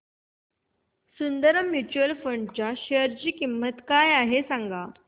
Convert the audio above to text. Sundaram mutual fund च्या share ची किंमत काय आहे सांगा